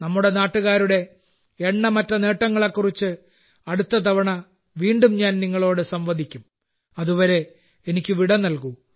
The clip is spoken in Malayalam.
നമ്മുടെ നാട്ടുകാരുടെ എണ്ണമറ്റ നേട്ടങ്ങളെക്കുറിച്ച് അടുത്ത തവണ വീണ്ടും ഞാൻ നിങ്ങളോട് സംവദിക്കും അതുവരെ എനിക്ക് വിട നൽകൂ